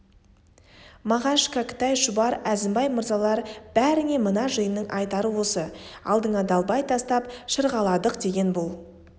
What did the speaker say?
мағаш кәкітай шұбар әзімбай мырзалар бәріңе мына жиынның айтары осы алдыңа далбай тастап шырғаладық деген бұл